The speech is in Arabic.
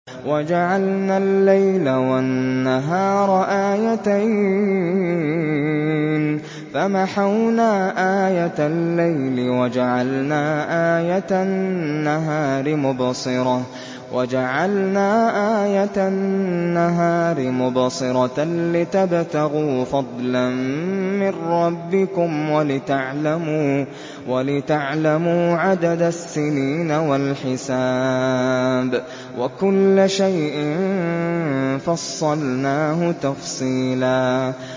وَجَعَلْنَا اللَّيْلَ وَالنَّهَارَ آيَتَيْنِ ۖ فَمَحَوْنَا آيَةَ اللَّيْلِ وَجَعَلْنَا آيَةَ النَّهَارِ مُبْصِرَةً لِّتَبْتَغُوا فَضْلًا مِّن رَّبِّكُمْ وَلِتَعْلَمُوا عَدَدَ السِّنِينَ وَالْحِسَابَ ۚ وَكُلَّ شَيْءٍ فَصَّلْنَاهُ تَفْصِيلًا